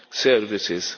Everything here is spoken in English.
services.